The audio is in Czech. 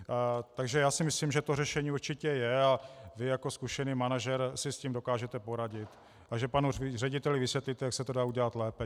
Takže já si myslím, že řešení určitě je a vy jako zkušený manažer si s tím dokážete poradit a že panu řediteli vysvětlíte, jak se to dá udělat lépe.